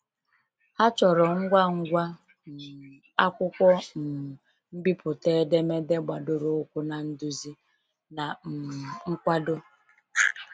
Ha chọrọ ngwa ngwa um akwụkwọ um mbipụta edemede gbadoro ụkwụ na nduzi, na um nkwado.